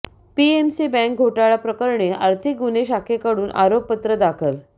PMC bank घोटाळा प्रकरणी आर्थिक गुन्हे शाखेकडून आरोपपत्र दाखल